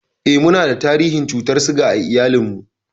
Eh, munada tarihin cutar siga a iyalinmu.